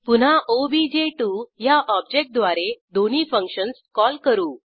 पुन्हा ओबीजे2 ह्या ऑब्जेक्ट द्वारे दोन्ही फंक्शन्स कॉल करू